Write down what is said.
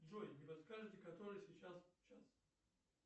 джой не подскажете который сейчас час